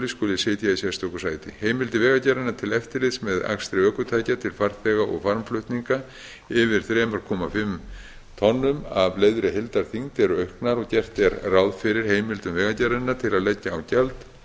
skuli sitja í sérstöku sæti heimildir vegagerðarinnar til eftirlits með akstri ökutækja til farþega og farmflutninga yfir þrjú komma fimm tonnum að leyfðri heildarþyngd eru auknar og gert er ráð fyrir heimildum vegagerðarinnar til að leggja á gjald